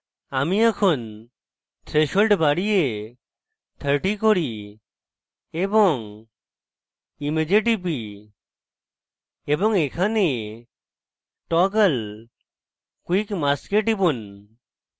আমি এখন threshold বাড়িয়ে 30 করি এবং image টিপি এবং এখানে toggle quick mask এ টিপুন